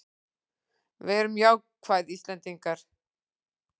Verum jákvæð Íslendingar!